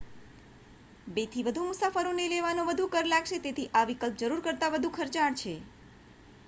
2 થી વધુ મુસાફરોને લેવાનો વધુ કર લાગશે તેથી આ વિકલ્પ જરૂર કરતા વધુ ખર્ચાળ છે